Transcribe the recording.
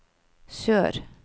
sør